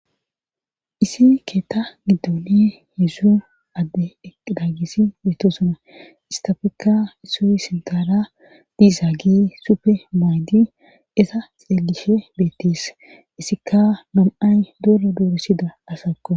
Isin keetta giddoni heedsu adde eqdaagisi beeto suna istafekka issuy sintara diisaa gi sufe maydi esa xeelishe beettis issikka nom'ay doro doorossida asakko